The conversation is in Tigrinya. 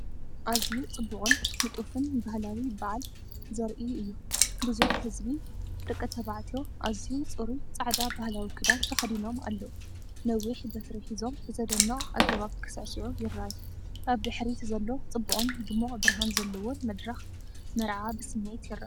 ኣዝዩ ጽቡቕን ንጡፍን ባህላዊ በዓል ዘርኢ እዩ። ብዙሕ ህዝቢ (ደቂ ተባዕትዮ) ኣዝዩ ጽሩይ ጻዕዳ ባህላዊ ክዳን ተኸዲኖም ኣለዉ። ነዊሕ በትሪ ሒዞም ብዘደንቕ ኣገባብ ክሳዕስዑ ይረኣዩ። ኣብ ድሕሪት ዘሎ ጽቡቕን ድሙቕ ብርሃን ዘለዎን መድረኽ መርዓ ብስምዒት ይርአ።